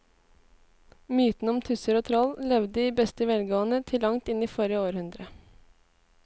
Mytene om tusser og troll levde i beste velgående til langt inn i forrige århundre.